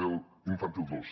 de l’infantil dos